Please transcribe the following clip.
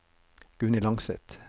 Gunhild Langseth